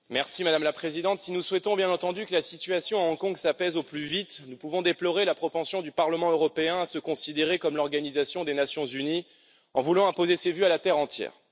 Madame la Présidente, si nous souhaitons bien entendu que la situation à Hong Kong s'apaise au plus vite, nous pouvons déplorer la propension du Parlement européen à se considérer comme l'Organisation des Nations unies en voulant imposer ses vues à la terre entière.